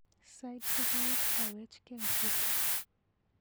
Sait sokol kokawechke asista.